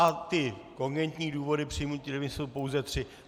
A ty kogentní důvody přijmutí demise jsou pouze tři.